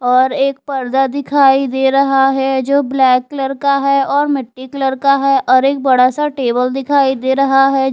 और एक पर्दा दिखाई दे रहा है जो ब्लैक कलर का है और मिट्टी कलर का है और एक बड़ा सा टेबल दिखाई दे रहा है।